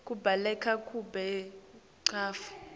kubaluleka kwebantfu